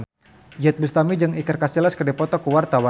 Iyeth Bustami jeung Iker Casillas keur dipoto ku wartawan